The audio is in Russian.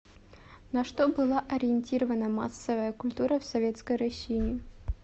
на что была ориентирована массовая культура в советской россии